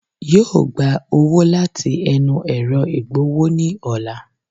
Yóò gba owó láti ẹnu ẹ̀ro ìgbowó ní ọ̀la